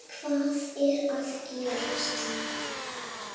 HVAÐ ER AÐ GERAST?